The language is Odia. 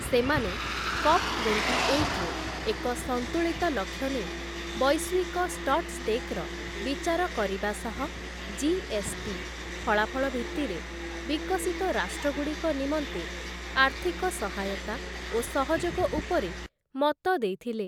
ସେମାନେ କପ୍‌ ଟ୍ୱେଣ୍ଟିଏଇଟ୍‌ରେ ଏକ ସନ୍ତୁଳିତ ଲକ୍ଷ୍ୟ ନେଇ ବୈଶ୍ୱିକ ଷ୍ଟଟ୍‌ଷ୍ଟେକ୍‌ର ବିଚାର କରିବା ସହ ଜି.ଏସ୍‌.ଟି. ଫଳାଫଳ ଭିତ୍ତିରେ ବିକଶିତ ରାଷ୍ଟ୍ରଗୁଡ଼ିକ ନିମନ୍ତେ ଆର୍ଥିକ ସହାୟତା ଓ ସହଯୋଗ ଉପରେ ମତ ଦେଇଥିଲେ ।